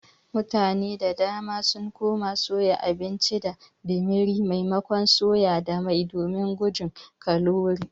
Mutane da dama sun koma soya abinci da dimiri maimakon soya da mai domin gujin kalori.